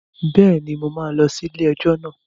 Bẹ́ẹ̀ni, mo máa lọ sí ilé-ẹjọ́ náà